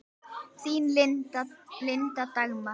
Þín, Linda Dagmar.